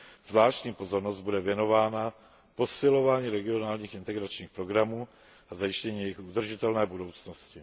Zvláštní pozornost bude věnována posilování regionálních integračních programů a zajištění jejich udržitelné budoucnosti.